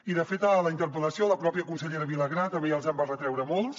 i de fet a la interpel·lació la pròpia consellera vilagrà també ja els en va retreure molts